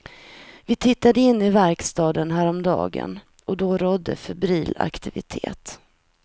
Vi tittade in i verkstan häromdagen och då rådde febril aktivitet.